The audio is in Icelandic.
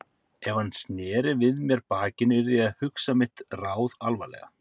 Ef hann sneri við mér bakinu yrði ég að hugsa mitt ráð alvarlega.